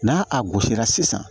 N'a a gosira sisan